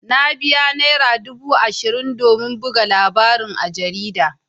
Na biya naira dubu ashirin domin buga labarin a jarida.